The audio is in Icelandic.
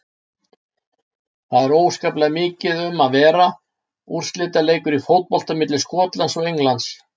Það er óskaplega mikið um að vera, úrslitaleikur í fótbolta milli Skotlands og Englands.